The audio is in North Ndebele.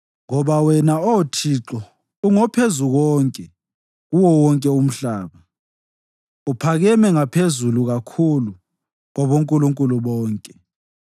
Ngoba wena, Oh Thixo ungoPhezukonke kuwo wonke umhlaba; uphakeme ngaphezulu kakhulu kwabonkulunkulu bonke.